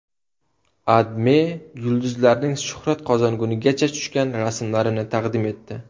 AdMe yulduzlarning shuhrat qozongunigacha tushgan rasmlarini taqdim etdi.